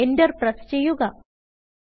Enter press ചെയ്യുക